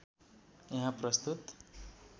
यहाँ प्रस्तुत